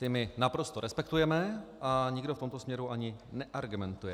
Ta my naprosto respektujeme a nikdo v tomto směru ani neargumentuje.